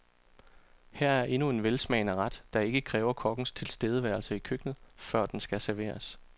Her er endnu en velsmagende ret, der ikke kræver kokkens tilstedeværelse i køkkenet, før den skal serveres.